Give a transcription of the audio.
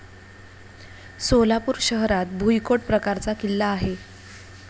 सोलापूर शहरात भुईकोट प्रकारचा किल्ला आहे.